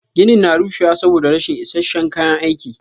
Ginin na rushewa saboda rashin is isasshen kayan aiki.